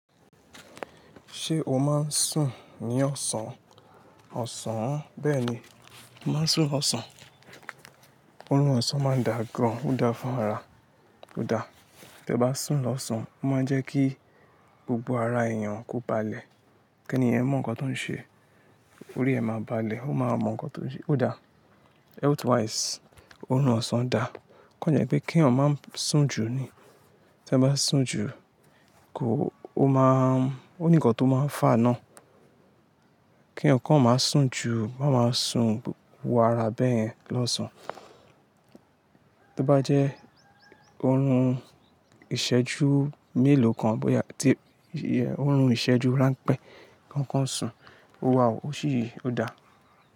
Ṣé o máa ń sùn ní ọ̀sán? Ọ̀sán, bẹ́ẹ̀ni, mo máa ń sùn lọ́sàn. Òórùn ọ̀sán máa ń dà gán, ó dáa fún ara, ó dáa. Tí ẹ bá sùn lọ́sán, ó máa ń jẹ́ kí gbogbo ara èèyàn kó balẹ̀, kí ènìyàn mọ̀ nǹkan tó ń ṣe. Orí ẹ máa balẹ̀, ó máa mọ̀ nǹkan tó ń ṣe. Ó dáa. Health wise, òórùn ọ̀sán dà. Kàn jẹ́ pé kí ẹ̀yàn má sùn jù ni. Tí ẹ bá sùn jù, kò, ó máa ń, ó ní nǹkan tó máa ń fà á ná. Kí ẹ̀yàn kọ́ má sùn jù, má máa sùn wu ara bẹ́ẹ̀yẹn lọ́sán. Tí ó bá jẹ́ òórùn ìṣẹ́jú mélòó kan bóyá tí iye òórùn ìṣẹ́jú ránpẹ́ kan kọ́ ń sùn, ó wà ó ṣí, ó dàá.